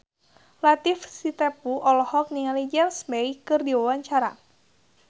Latief Sitepu olohok ningali James Bay keur diwawancara